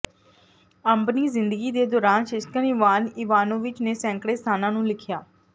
ਆਪਣੀ ਜ਼ਿੰਦਗੀ ਦੇ ਦੌਰਾਨ ਸ਼ਿਸ਼ਕਨ ਇਵਾਨ ਇਵਾਨੋਵਿਚ ਨੇ ਸੈਂਕੜੇ ਸਥਾਨਾਂ ਨੂੰ ਲਿਖਿਆ